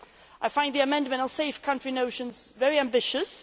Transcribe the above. I find the amendment on safe country notions very ambitious.